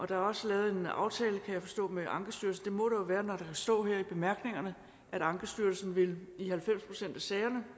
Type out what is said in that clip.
er også lavet en aftale kan jeg forstå med ankestyrelsen det må der jo være når der kan stå her i bemærkningerne at ankestyrelsen i halvfems procent af sagerne